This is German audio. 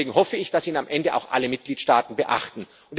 Deswegen hoffe ich, dass ihn am Ende auch alle Mitgliedstaaten beachten.